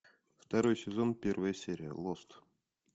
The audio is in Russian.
второй сезон первая серия лост